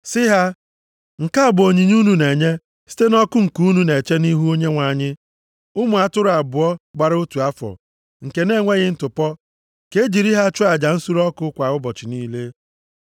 Sị ha, ‘Nke a bụ onyinye unu na-enye site nʼọkụ nke unu na-eche nʼihu Onyenwe anyị: ụmụ atụrụ abụọ gbara otu afọ, nke na-enweghị ntụpọ, ka e jiri ha chụọ aja nsure ọkụ kwa ụbọchị niile.